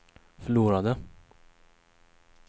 förlorade